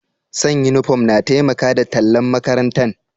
San' uniform na taimaka da tallan' makarantan.